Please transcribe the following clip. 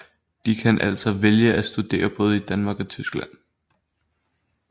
De kan altså vælge at studere både i Danmark og Tyskland